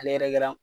Ale yɛrɛ kɛra